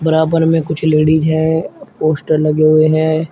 बराबर में कुछ लेडिस हैं पोस्टर लगे हुए हैं।